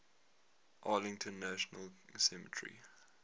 arlington national cemetery